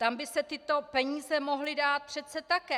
Tam by se tyto peníze mohly dát přece také!